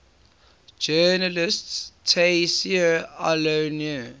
journalist tayseer allouni